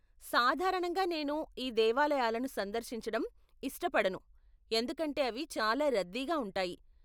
సాధారణంగా నేను ఈ దేవాలయాలను సందర్శించడం ఇష్టపడను ఎందుకంటే అవి చాలా రద్దీగా ఉంటాయి.